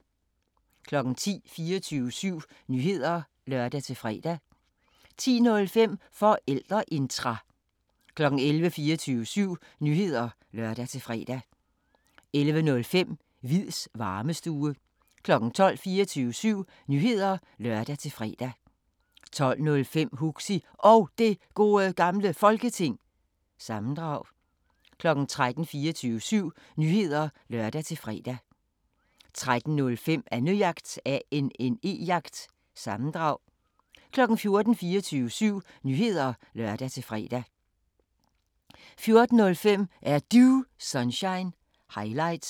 10:00: 24syv Nyheder (lør-fre) 10:05: Forældreintra 11:00: 24syv Nyheder (lør-fre) 11:05: Hviids Varmestue 12:00: 24syv Nyheder (lør-fre) 12:05: Huxi Og Det Gode Gamle Folketing- sammendrag 13:00: 24syv Nyheder (lør-fre) 13:05: Annejagt – sammendrag 14:00: 24syv Nyheder (lør-fre) 14:05: Er Du Sunshine – highlights